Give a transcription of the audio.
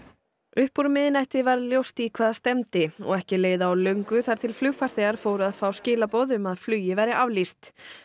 upp úr miðnætti varð ljóst í hvað stefndi og ekki leið á löngu þar til flugfarþegar fóru að fá skilaboð um að flugi væri aflýst